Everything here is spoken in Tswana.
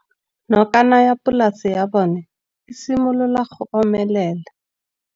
Nokana ya polase ya bona, e simolola go omelela.